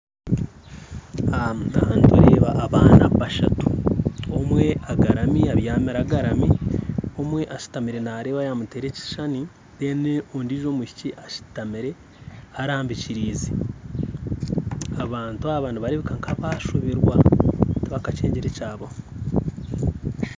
Nindeeba abaana bashatu omwe abyamire agarami omwe ashutamire nareeba ayamuteera ekishushani ondiijo mwishiki ashutamire arambikiriize abantu aba nibareebeka nkabashoberwa tibajakyengire ekyabaho